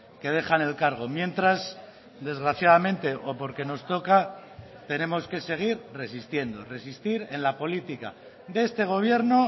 que dejan el cargo mientras desgraciadamente o porque nos toca tenemos que seguir resistiendo resistir en la política de este gobierno